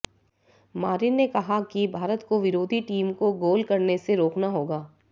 Marin ने कहा कि भारत को विरोधी टीम को गोल करने से रोकना होगा